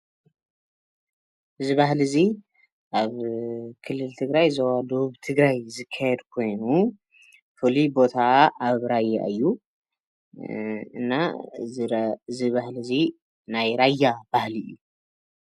እዚ ባህሊ እዚ ኣብ ክልል ትግራይ ዞባ ደቡብ ትግራይ ዝካየድ ኮይኑ፣ ፉሉይ ቦታ ኣብ ራያ እዩ። እና እዚ ባህሊ እዚ ናይ ራያ ባህሊ እዩ።